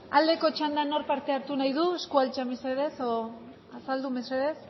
aldeko txandan nork parte hartu nahi du eskua altxa mesedez edo azaldu mesedez